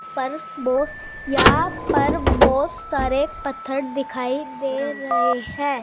पर यहां पर बहुत पत्थर दिखाई दे रहे हैं।